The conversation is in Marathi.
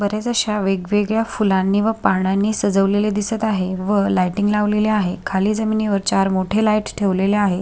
बरेच अश्या वेगवेगळ्या फुलांनी व पानांनी सजवलेले दिसत आहे व लायटिंग लावलेले आहे. खाली जमिनी वर चार मोठे लाईट्स ठेवलेले आहे.